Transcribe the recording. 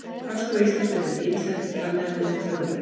Hagstofa Íslands birtir ýmislegt talnaefni um þjóðfélagið.